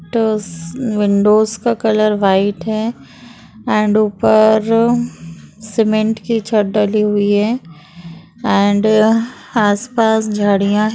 टस विंडोज का colour white है अँड ऊपर सीमेंट की छत डाली हुई है अँड आसपास झाडीया --